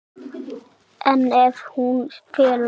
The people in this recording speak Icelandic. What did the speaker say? En ef hún felur sig?